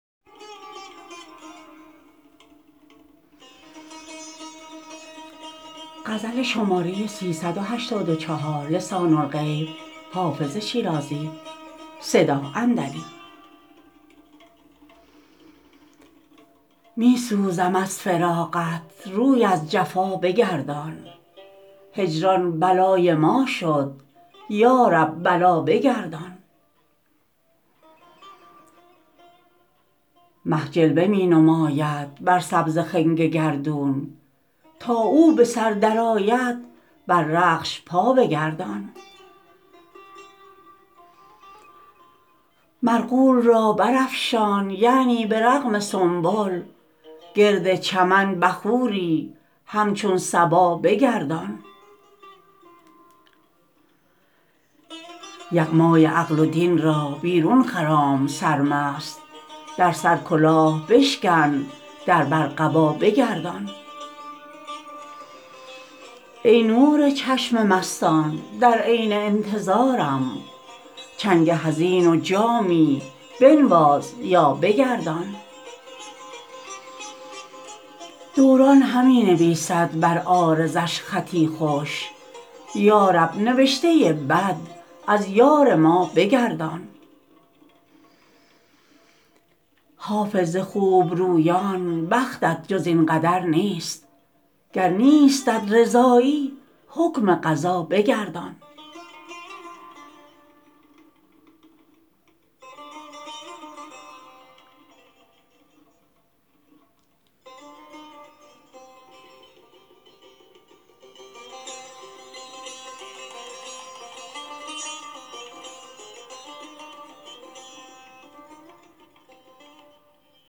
می سوزم از فراقت روی از جفا بگردان هجران بلای ما شد یا رب بلا بگردان مه جلوه می نماید بر سبز خنگ گردون تا او به سر درآید بر رخش پا بگردان مرغول را برافشان یعنی به رغم سنبل گرد چمن بخوری همچون صبا بگردان یغمای عقل و دین را بیرون خرام سرمست در سر کلاه بشکن در بر قبا بگردان ای نور چشم مستان در عین انتظارم چنگ حزین و جامی بنواز یا بگردان دوران همی نویسد بر عارضش خطی خوش یا رب نوشته بد از یار ما بگردان حافظ ز خوبرویان بختت جز این قدر نیست گر نیستت رضایی حکم قضا بگردان